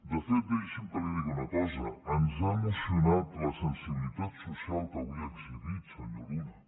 de fet deixi’m que li digui una cosa ens ha emocionat la sensibilitat social que avui ha exhibit senyor luna